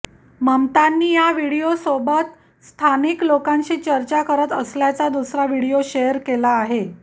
ममतांनी या व्हिडिओसोबत स्थानिक लोकांशी चर्चा करत असल्याचा दुसरा व्हिडिओ शेअर केला आहे